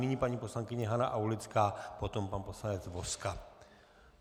Nyní paní poslankyně Hana Aulická, potom pan poslanec Vozka.